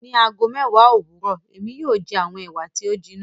Ní ago mẹ́èwá owurọ, èmi yóò jẹ awọn Ewa ti o jinna